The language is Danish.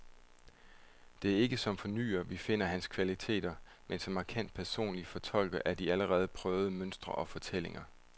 Det er ikke som fornyer, vi finder hans kvaliteter, men som markant personlig fortolker af de allerede prøvede mønstre og fortællinger.